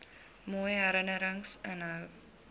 mooi herinnerings inhou